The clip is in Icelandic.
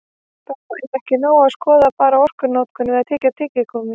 Þó er ekki nóg að skoða bara orkunotkun við að tyggja tyggigúmmí.